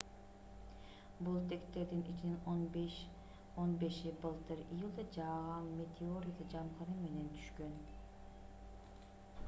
бул тектердин ичинен он беши былтыр июлда жааган метеорит жамгыры менен түшкөн